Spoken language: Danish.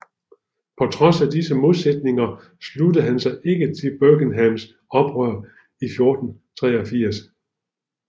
På trods af disse modsætninger sluttede han sig ikke til Buckinghams oprør i 1483